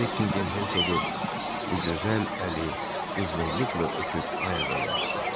Bekkiham hersoqu bu gözəl əli qızğınlıqla öpüb ayağa qalxdı.